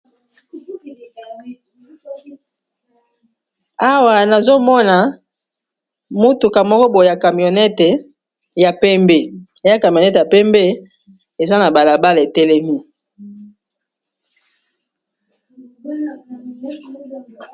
Awa nazomona mutuka ya moko boye ya camionette ya pembe eza na balabala etelemi.